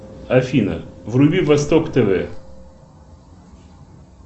афина вруби восток тв